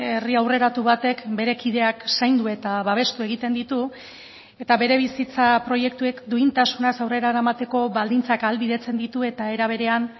herri aurreratu batek bere kideak zaindu eta babestu egiten ditu eta bere bizitza proiektuek duintasunaz aurrera eramateko baldintzak ahalbidetzen ditu eta era berean